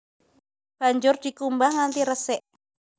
Banjur dikumbah nganti resik